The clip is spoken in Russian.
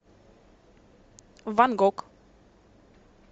ван гог